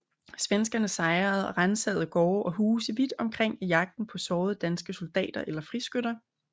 Svenskerne sejrede og ransagede gårde og huse vidt omkring i jagten på sårede danske soldater eller friskytter